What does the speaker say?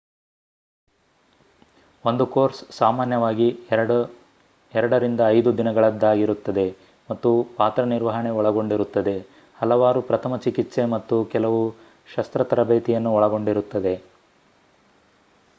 ಒಂದು ಕೋರ್ಸ್ ಸಾಮಾನ್ಯವಾಗಿ 2-5 ದಿನಗಳದ್ದಾಗಿರುತ್ತದೆ ಮತ್ತು ಪಾತ್ರ ನಿರ್ವಹಣೆ ಒಳಗೊಂಡಿರುತ್ತದೆ ಹಲವಾರು ಪ್ರಥಮ ಚಿಕಿತ್ಸೆ ಮತ್ತು ಕೆಲವು ಶಸ್ತ್ರ ತರಬೇತಿಯನ್ನು ಒಳಗೊಂಡಿರುತ್ತದೆ